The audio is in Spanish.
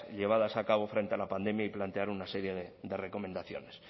llevadas a cabo frente a la pandemia y plantearon una serie de recomendaciones